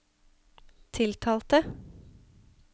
tiltalte